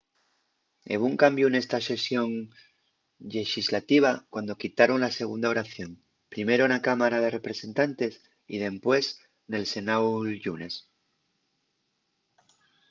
hebo un cambiu nesta sesión llexislativa cuando quitaron la segunda oración primero na cámara de representantes y dempués nel senáu'l llunes